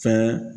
Fɛn